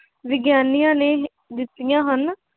ਵਿਗਿਆਨੀਆਂ ਨੇ ਦਿੱਤੀਆਂ ਹਨ।